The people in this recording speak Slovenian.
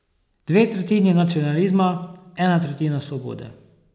Dve tretjini nacionalizma, ena tretjina svobode.